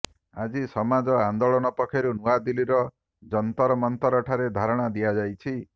ଆଜି ସମାଜ ଆନ୍ଦୋଳନ ପକ୍ଷରୁ ନୂଆଦିଲ୍ଲୀର ଜନ୍ତରମନ୍ତରଠାରେ ଧାରଣା ଦିଆଯାଇଛି